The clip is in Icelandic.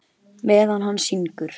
Ragnar kinkaði kolli.